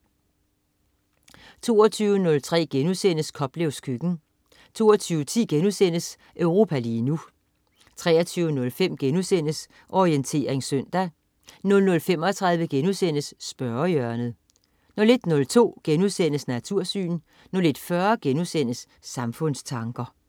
22.03 Koplevs køkken* 22.10 Europa lige nu* 23.05 Orientering søndag* 00.35 Spørgehjørnet* 01.02 Natursyn* 01.40 Samfundstanker*